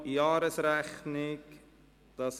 Jahresrechnung 2017».